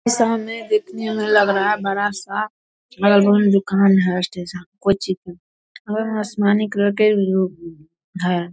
सामने देखने से लग रहा है बड़ा-सा दुकान है कोई चीज का और आसमानी कलर के है।